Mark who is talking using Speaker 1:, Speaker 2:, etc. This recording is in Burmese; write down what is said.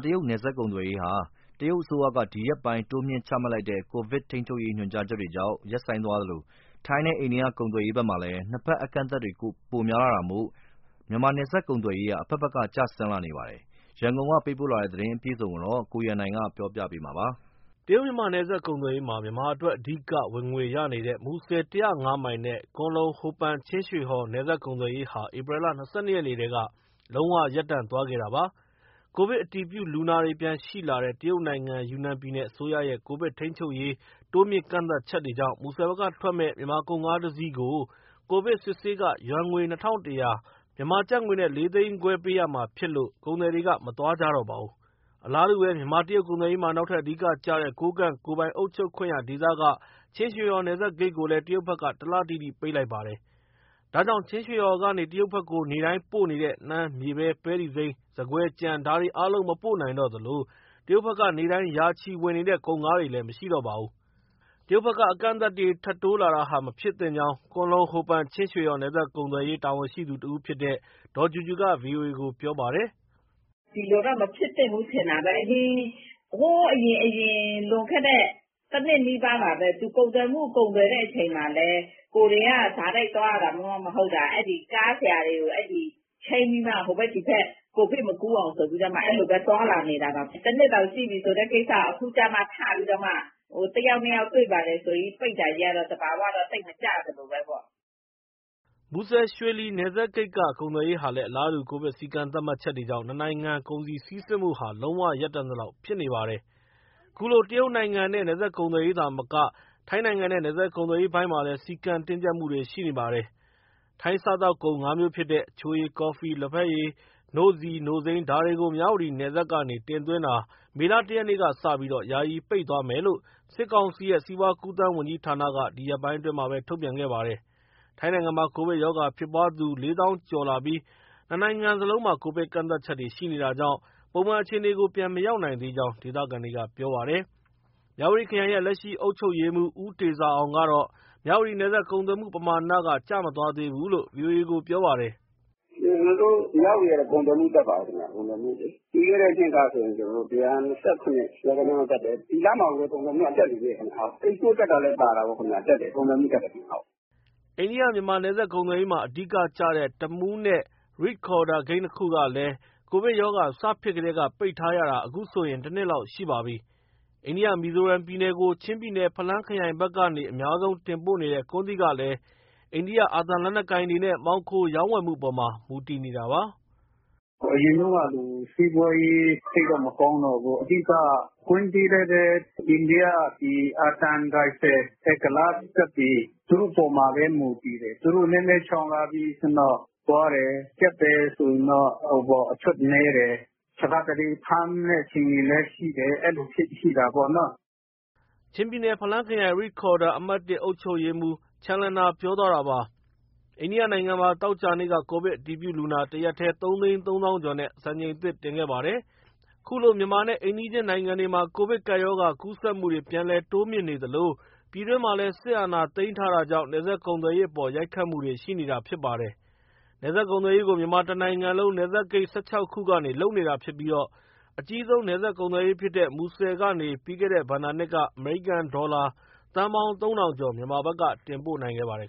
Speaker 1: တရုတ်နယ်စပ် ကုန်သွယ်ရေးသာမကထိုင်းနဲ့ အိန္ဒိယဖက်က နယ်စပ်ကုန်သွယ်ရေးမှာလည်း ကိုဗစ်ကပ်ရောဂါကြောင့် ကန့်သတ်ချက်တွေ တိုးနေတဲ့အကြောင်း ရန်ကုန်ကလာတဲ့သတင်းကို ကိုရန်နိုင်က ပြောပြထားပါတယ်။ တရုတ်- မြန်မာ နယ်စပ်ကုန်သွယ်ရေးမှာ မြန်မာအတွက် အဓိကဝင်ငွေရနေတဲ့ မူဆယ် ၁၀၅ မိုင်နဲ့ ကွမ်းလုံ- ဟိုပန်- ချင်းရွှေဟော် နယ်စပ်ကုန်သွယ်ရေးဟာ ဧပြီလ ၂၂ ရက်နေ့ထဲက လုံးဝရပ်တန့်သွားတာပါ။ ကိုဗစ်အတည်ပြုလူနာတွေ ပြန်ရှိလာတဲ့ တရုတ်နိုင်ငံ ယူနန်ပြည်နယ်အစိုးရရဲ့ ကိုဗစ်ထိန်းချုပ်ရေး တိုးမြှင့်ကန့်သတ်ချက်တွေကြောင့် မူဆယ်ဘက်ကထွက်မယ့် မြန်မာကုန်ကားတစီးကို COVID စစ်ဆေးခ ယွမ်ငွေ ၂၁၀၀ မြန်မာကျပ်ငွေနဲ့ ၄၅၀၀၀၀ ပေးရမှာဖြစ်လို့ ကုန်သည်တွေက မသွားကြတော့ပါဘူး။ အလားတူပဲ မြန်မာ- တရုတ် ကုန်သွယ်ရေးမှာ နောက်ထပ်အဓိကကျတဲ့ ကိုးကန့်ကိုယ်ပိုင် အုပ်ချုပ်ခွင့်ရဒေသက ချင်းရွှေဟော် နယ်စပ်ဂိတ်ကိုလည်းတရုတ်ဘက်က တလတိတိ ပိတ်လိုက်ပါတယ်။ ဒါကြောင့် ချင်းရွှေဟော်ကနေ တရုတ်ဘက်ကို နေ့တိုင်းပို့နေတဲ့ နှမ်း၊ မြေပဲ၊ ပဲတီစိမ်း၊ ဆန်ကွဲ၊ ကြံ ဒါတွေအားလုံး မပို့နိုင်တော့သလို တရုတ်ဘက်က နေ့တိုင်း ရာချီဝင်နေတဲ့ ကုန်ကားတွေလည်း မရှိတော့ပါဘူး။တရုတ်ဘက်က အကန့်အသတ်တွေ ထပ်တိုးလာတာဟာ မဖြစ်သင့်ကြောင်း ကွမ်းလုံ- ဟိုပန်- ချင်းရွှေဟော် နယ်စပ်ကုန်သွယ်ရေး တာဝန်ရှိသူတဦးဖြစ်တဲ့ ဒေါ်ကြူကြူက ဗွီအိုအေကို ပြောပါတယ်။ “ဒီလိုတော့ မဖြစ်သင့်ဘူး ထင်တာပဲ။ ဟိုးအရင် လွန်ခဲ့တဲ့ တနှစ်နီးပါးလောက် ကုန်သွယ်ချိန်မှာလည်း ကိုယ်တွေက တိုက်ရိုက်သွားရတာမှ မဟုတ်တာ၊ အဲဒီ ကားဆရာတွေ ချိန်းပြီးမှ ဟိုဘက်သည်ဘက် ကိုဗစ်မကူးအောင်ဆိုပြီး သွားလာနေတာတောင် တနှစ်တောင်ရှိပြီဆိုမှ အခုကျမှထပြီး တယောက်နှစ်ယောက် တွေ့ပါတယ်ဆိုပြီး ပိတ်တာကြီးကတော့ သဘာဝတော့ သိပ်မကျသလိုပဲ။” မူဆယ်၊ ရွှေလီ နယ်စပ်ဂိတ်က ကုန်သွယ်ရေးဟာလည်း အလားတူ ကိုဗစ် စည်းကမ်းသတ်မှတ်ချက်တွေကြောင့် နှစ်နိုင်ငံ ကုန်စည်စီးဆင်းမှုဟာလုံးဝရပ်တန့်သလောက် ဖြစ်နေပါတယ်။ ခုလို တရုတ်နိုင်ငံနဲ့ နယ်စပ်ကုန်သွယ်ရေးသာမက ထိုင်းနိုင်ငံနဲ့ နယ်စပ်ကုန်သွယ်ရေးပိုင်းမှာလည်း စည်းကမ်းတင်းကြပ်မှုတွေ ရှိနေပါတယ်။ ထိုင်းစားသောက်ကုန် ၅ မျိုးဖြစ်တဲ့ အချိုရည်၊ ကော်ဖီ၊ လက်ဖက်ရည်၊ နို့ဆီ၊ နို့စိမ်း ဒါတွေကို မြဝတီနယ်စပ်ကနေ တင်သွင်းတာ မေလ ၁ရက်ကစပြီး ယာယီပိတ်သွားမယ်လို့ စစ်ကောင်စီရဲ့ စီးပွားကူးသန်းဝန်ကြီးဌာနက ဒီရက်ပိုင်းအတွင်း ထုတ်ပြန်ခဲ့ပါတယ်။ ထိုင်းနိုင်ငံမှာ ကိုဗစ်ရောဂါဖြစ်ပွားသူ ၄၀၀၀၀ ကျော်လာပြီး နှစ်နိုင်ငံစလုံးမှာ ကိုဗစ်ကန့်သတ်ချက်တွေ ရှိနေတာကြောင့် ပုံမှန်အခြေအနေကို ပြန်မရောက်နိုင်သေးကြောင်း ဒေသခံတွေက ပြောပါတယ်။ မြဝတီခရိုင်ရဲ့ လက်ရှိအုပ်ချုပ်ရေးမှူး ဦးတေဇာအောင်ကတော့ မြဝတီနယ်စပ် ကုန်သွယ်မှုပမာဏက ကျမသွားသေးဘူးလို့ ဗွီအိုအေကို ပြောပါတယ်။ “ကျနော်တို့ မြဝတီကတော့ ကုန်သွယ်မှု တက်ပါတယ်။ ပြီးခဲ့တဲ့ နှစ်ကဆိုရင် ၁၂၇ လောက်တက်တယ်၊ ဒီလမှာကိုပဲ ကုန်သွယ်မှုက တက်နေသေးတယ်ခင်ဗျ။ အိတ်စပို့ တက်တာလည်းပါတာပေါ့ ခင်ဗျ၊ ကုန်သွယ်မှုတက်တယ်။” အိန္ဒိယ- မြန်မာ နယ်စပ်ကုန်သွယ်ရေးမှာ အဓိကကျတဲ့ တမူးနဲ့ ရိဒ်ခေါ်ဒါရ် ဂိတ်နှစ်ခုကလည်း Covid ရောဂါစဖြစ်ကတည်း ပိတ်ထားရတာ အခုဆိုရင် တနှစ်လောက်ရှိပါပြီ။ အိန္ဒိယ မီဇိုရမ်ပြည်နယ်ကို ချင်းပြည်နယ် ဖလမ်းခရိုင်ဘက်က အများဆုံးတင်ပို့နေတဲ့ ကွမ်းသီးကလည်း အိန္ဒိယအာသံလက်နက်ကိုင်တွေနဲ့ မှောင်ခိုရောင်းဝယ်မှုအပေါ်မှာ မူတည်နေတာပါ။ “အရင်တုန်းကလို စီးပွားရေး သိပ်တော့ မကောင်းတော့ဘူး၊ အဓိက ကွမ်းသီးလည်းပဲ အိန္ဒိယ အာသံရိုင်ဖယ် ကုလားစစ်တပ်တွေ သူတို့အပေါ်မှာပဲ မူတည်တယ်။ သူတို့နည်းနည်း ချောင်လာပြီ ဆိုရင်တော့ သွားတယ်၊ ကျပ်တယ်ဆိုရင်တော့ အထွက်နည်းတယ်။ တခါတလေ ဖမ်းမယ့်အခြေအနေလည်း ရှိတယ်၊ အဲလိုရှိတာပေါ့နော်။” ချင်းပြည်နယ်၊ ဖလမ်းခရိုင်၊ ရိခေါ်ဒါရ် အမှတ် အုပ်ချုပ်ရေးမှူး ချန်လျန်နာ ပြောသွားတာပါ။ အိန္ဒိယနိုင်ငံမှာ သောကြာနေ့က ကိုဗစ်အတည်ပြုလူနာ တရက်ထဲ ၃ သိန်း ၃ သောင်းကျော်နဲ့ စံချိန်သစ်တင်ခဲ့ပါတယ်။ ခုလို့ မြန်မာနဲ့ အိမ်နီးချင်း နိုင်ငံတွေမှာ ကိုဗစ်ကပ်ရောဂါ ကူးစက်မှုတွေ ပြန်လည်တိုးမြင့်နေသလို ပြည်တွင်းမှာလည်း စစ်အာဏာသိမ်းထားတာကြောင့် နယ်စပ်ကုန်သွယ်ရေးအပေါ် ရိုက်ခတ်မှုတွေ ရှိနေတာဖြစ်ပါတယ်။ နယ်စပ်ကုန်သွယ်ရေးကို မြန်မာတနိုင်ငံလုံး နယ်စပ်ဂိတ် ၁၆ ခုကနေလုပ်နေတာဖြစ်ပြီး အကြီးဆုံး နယ်စပ်ကုန်သွယ်ရေးဖြစ်တဲ့ မူဆယ်ကနေ ပြီးခဲ့တဲ့ ဘဏ္ဍာနှစ်က အမေရိကန်ဒေါ်လာ သန်းပေါင်း ၃၀၀၀ ကျော် မြန်မာဘက်က တင်ပို့နိုင်ခဲ့ပါတယ်